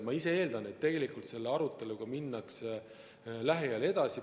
Ma ise eeldan, et tegelikult selle aruteluga minnakse lähiajal edasi.